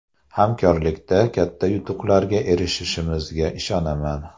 Hamkorlikda katta yutuqlarga erishishimizga ishonaman.